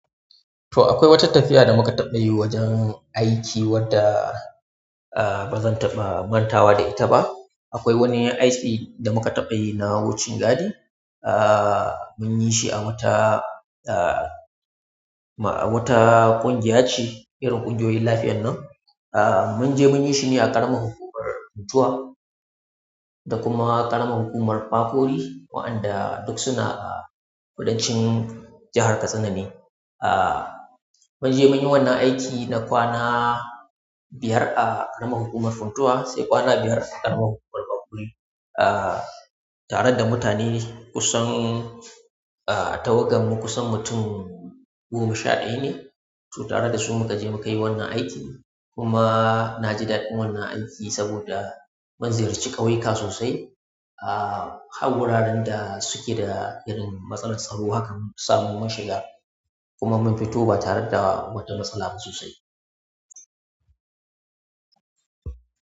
To akwai wata tafiya da muka taɓa yi wajen aiki wadda, ah, ba zan taɓa mantawa da ita ba. Akwai wani aiki da muka taɓa yi na wucin gadi. Ah, mun yi shi a wata, ah, ma-- a wata ƙungiya ce, irin ƙungiyoyin lafiyar nan. Ah, mun je mun yi shi ne a ƙaramar hukumar Funtua da kuma ƙaramar hukumar Fafuri, waɗanda duk suna a kudanci jahar Katsina ne. Ah, mun je mun yi wannan aiki na kwana biyar a ƙaramar hukumar Funtua sai kwana biyar a ƙaramar hukumar Fafuri, ah, tare da mutane kusan, ah, tawaganmu kusan mutum goma sha ɗaya ne. To tare da su muka je muka yi wannan aiki kuma na ji daɗin wannan aiki saboda mun ziyarci ƙauyuka sosai. Ah, har guraren da suke da irin matsalar tsaro haka mun samu mun shiga kuma mun fito ba tare da wata matsala ba sosai.